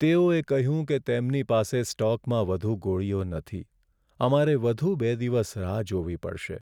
તેઓએ કહ્યું કે તેમની પાસે સ્ટોકમાં વધુ ગોળીઓ નથી. અમારે વધુ બે દિવસ રાહ જોવી પડશે.